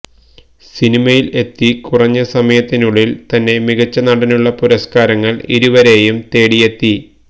സിനിമയില് എത്തി കുറഞ്ഞ സമയത്തിനുള്ളില് തന്നെ മികച്ച നടന്നുള്ള പുരസ്കാരങ്ങള് ഇരുവരെയും തേടിയെത്തി